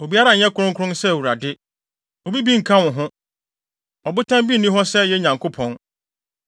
“Obiara nyɛ kronkron sɛ Awurade! Obi bi nnka wo ho; Ɔbotan bi nni hɔ sɛ yɛn Nyankopɔn.